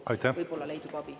… et kohtu kaudu võib-olla saab abi.